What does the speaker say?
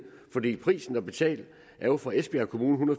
prisen at betale er jo for esbjerg kommune